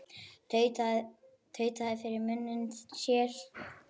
Tautaði fyrir munni sér.